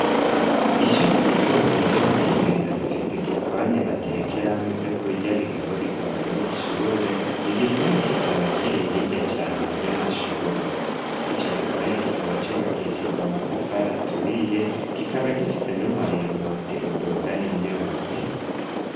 ishure ry'isumbuye ryo mu kibenga rifise igikoni batekeramwo ivyo kurya bigabu rirwa banyeshure igikoni kikaba kiri hirya cane ry'amashure ndetse ico gikoni kikaba cylubakishijwe amatafari aturiye kikaba gifise n'umuringoti udugana imyotsi